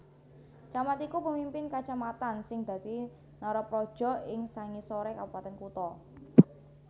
Camat iku pemimpin kacamatan sing dadi narapraja ing sangisoré Kabupatèn Kutha